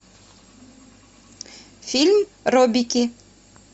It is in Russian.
фильм робики